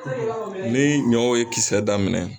Ni ɲɔw ye kisɛ daminɛ